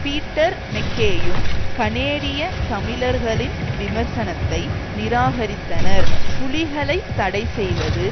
Peter மெக்கேயும் கனேடிய தமிழர்களின் விமர்சனத்தை நிராகரித்தனர் புலிகளைத் தடைசெய்வது